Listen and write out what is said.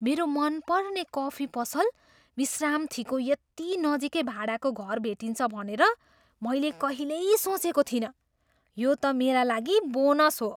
मेरो मनपर्ने कफी पसल विश्रामथीको यति नजिकै भाडाको घर भेटिन्छ भनेर मैले कहिल्यै सोचेको थिइनँ। यो त मेरा लागि बोनस हो!